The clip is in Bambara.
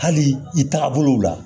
Hali i taga bolow la